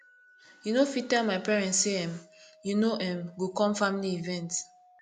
you no fit tell my parents sey um you no um go com family event